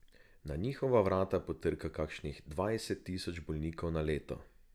Na njihova vrata potrka kakšnih dvajset tisoč bolnikov na leto.